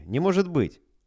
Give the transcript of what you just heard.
не может быть